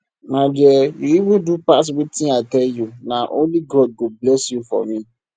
my dear you even do pass wetin i tell you na only god go bless you for me